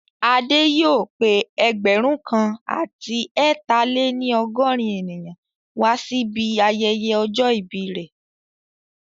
Adé yóò pé ẹgbẹ̀rún kan àti ẹ ta-lè-ní-ọgọ́rin ènìyàn wá sí ibi ayẹyẹ ọjọ́ ìbí rẹ̀